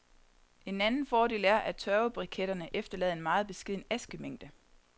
En anden fordel er, at tørvebriketterne efterlader en meget beskeden askemængde.